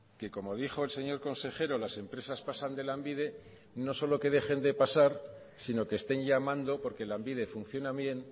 que como dijo el señor consejero las empresas pasan de lanbide no solo que dejen de pasar sino que estén llamando porque lanbide funciona bien